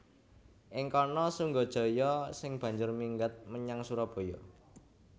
Ing kana Sunggajaya sing banjur minggat menyang Surabaya